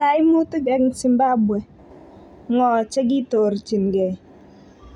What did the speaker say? kaimutik eng Zimbabwe:ngo che ketoorjingei?